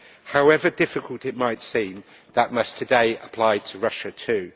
However difficult it might seem, that must today apply to Russia too.